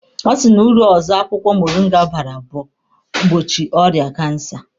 Ọ sị na uru ọzọ akwụkwọ moringa bara bụ ịgbochi ọrịa kansa.